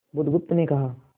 बुधगुप्त ने कहा